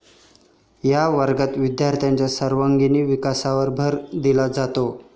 या वर्गात विद्यार्थ्यांच्या सर्वांगिण विकासावर भर दिला जातो.